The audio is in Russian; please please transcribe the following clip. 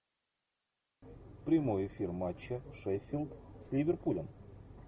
прямой эфир матча шеффилд с ливерпулем